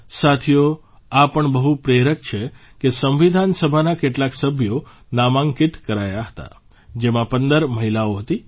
સાથીઓ આ પણ બહુ પ્રેરક છે કે સંવિધાન સભાના કેટલાક સભ્યો નામાંકિત કરાયા હતા જેમાં ૧૫ મહિલાઓ હતી